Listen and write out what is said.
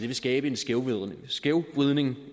vil skabe en skævvridning skævvridning